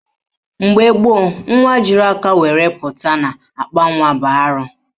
Mgbe gboo, nwa jiri aka were pụta n'akpanwa bụ arụ